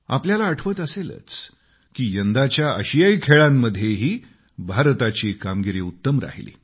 आपल्याला आठवत असेलच की यंदाच्या आशियाई गेम्समध्येही भारताची कामगिरी उत्तम राहिली